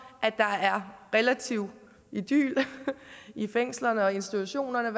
at der er relativ idyl i fængslerne og institutionerne